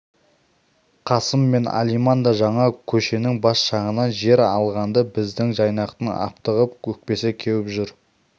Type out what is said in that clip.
қасым мен алиман да жаңа көшенің бас жағынан жер алғанды біздің жайнақтың аптығып өкпесі кеуіп жүр